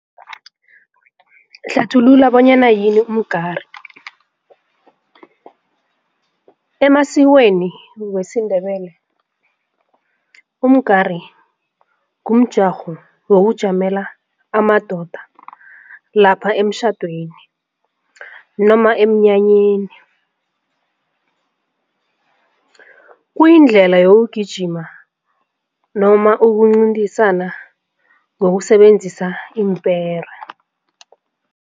Hlathulula bonyana yini umgari. Emasikweni wesiNdebele umgari ngumjarho wokujamela amadoda lapha emtjhadweni noma emnyanyeni, kuyindlela yokugijima noma ukuncintisana ngokusebenzisa iimpera.